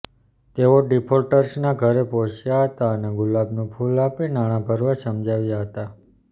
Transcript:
તેઓ ડિફોલ્ટર્સના ઘરે પહોંચ્યા હતા અને ગુલાબનું ફૂલ આપી નાણા ભરવા સમજાવ્યા હતા